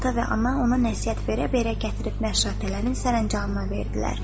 Ata və ana ona nəsihət verə-verə gətirib məşşatələrin sərəncamına verdilər.